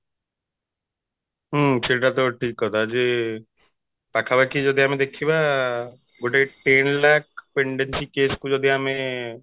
ହୁଁ ସେଇଟା ତ ଠିକ କଥା ଯେ ପାଖାପାଖି ଯଦି ଆମେ ଦେଖିବା ଆଁ ଗୋଟେ case କୁ ଯଦି ଆମେ